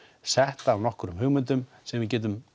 sett af einhverjum hugmyndum sem við getum